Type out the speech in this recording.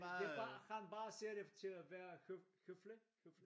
Det bare han bare siger det til at være høflig